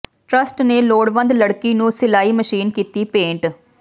trust ਨੇ ਲੋੜਵੰਦ ਲੜਕੀ ਨੂੰ ਸਿਲਾਈ ਮਸ਼ੀਨ ਕੀਤੀ ਭੇਟ